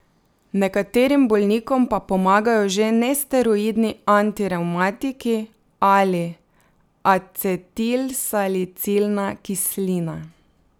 Nekaterim bolnikom pa pomagajo že nesteroidni antirevmatiki ali acetilsalicilna kislina.